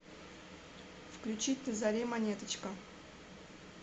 включить на заре монеточка